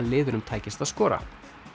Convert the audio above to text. liðunum tækist að skora